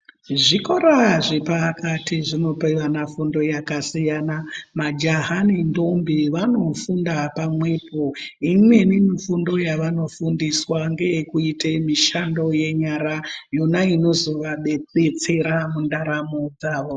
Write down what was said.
Zvikora zvepakati zvinopa vana fundo yakasiyana majaha ne ntombi vanofunda pamwenipo yeimweni mfundo yavanofundiswa ngeyekuite nfundo yenyara yona inozovadetsera muntaramo dzavo.